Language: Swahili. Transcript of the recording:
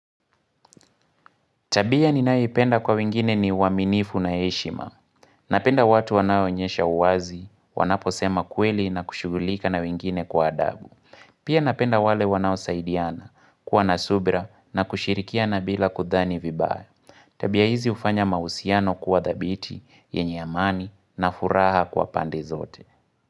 Tabia ni nayoipenda kwa wengine ni uwaminifu na eshima. Napenda watu wanaoonyesha uwazi, wanapo sema kweli na kushugulika na wingine kwa adabu. Pia napenda wale wanao saidiana, kuwa nasubra na kushirikia na bila kudhani vibaya. Tabia hizi ufanya mausiano kuwa dhabiti, yenye amani na furaha kwa pande zote.